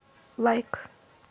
лайк